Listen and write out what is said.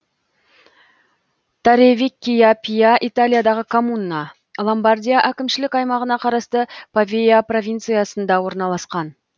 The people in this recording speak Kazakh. торревеккия пиа италиядағы коммуна ломбардия әкімшілік аймағына қарасты павия провинциясында орналасқан